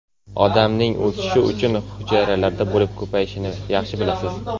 Odamning o‘sishi uchun hujayralar bo‘lib ko‘payishini yaxshi bilasiz.